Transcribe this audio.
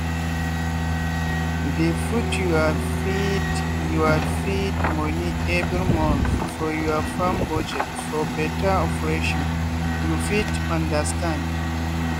dey put your feed your feed money every month for your farm budget for better operation you fit understand.